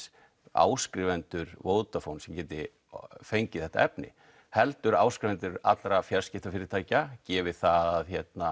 áskrifendur Vodafone sem geta fengið þetta efni heldur áskrifendur allra fjarskiptafyrirtækja gefið að